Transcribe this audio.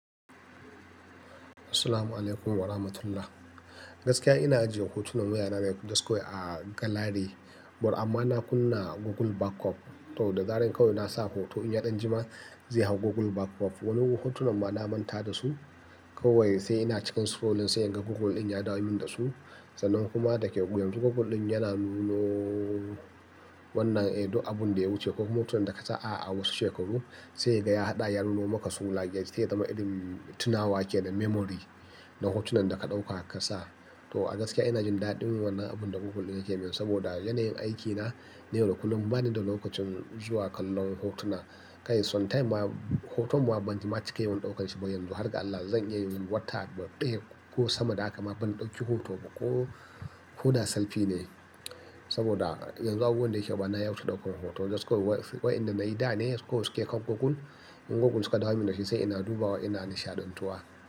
Assalamu alaykum wa rahmatullah. Gaskiya ina ajiye hotunan wayana mai just go yi a gallery. But amma na kunna Google backup. To da zarar kawai na sa hoto in ya ɗan jima zai hau Google backup. Wani hotunan ma na manta da su. Kawai sai ina cikin scrolling sai inga Google ɗin ya dau min da su. Sannan kuma da ke yanzu Google ɗin yana nuno wannan, eh, duk abun da ya wuce ko hotunan da ka sa'a a wasu shekaru. Sai ga ya haɗa ya nuno maka su laiya shi sai ya zama irin tunawa ke da memory na hotunan da ka ɗauka ka sa. To a gaskiya ina jin daɗin wannan abun da Google yake min saboda yanayin aikina na yana kullum bani da lokacin zuwa kallon hotuna. Kai sometimes ma hoton ma ban ji ma ciks yawan ɗaukar shi ba. Yanzu, har ga Allah, zan iya yin wata daya ko sama da haka ma ban ɗauki hoto ba ko koda selfie ne. Saboda yanzu abubuwan da yake gaba na ya wuce ɗaukan hoto. Just go wayannan da na yi da ne ko suke kan Google. In Googlen suka dau min da shi sai ina duba wa ina nishaɗantuwa.